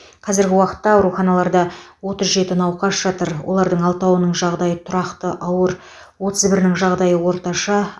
қазіргі уақытта ауруханаларда отыз жеті науқас жатыр олардың алтауның жағдайы тұрақты ауыр отыз бірінің жағдайы орташа